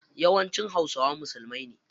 Yawanci hausawa musulmai ne.